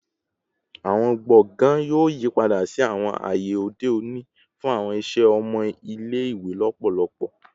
Awọn gbọngàn yoo yipada si awọn aye ode oni fun awọn iṣẹ ọmọ ile-iwe lọpọlọpọ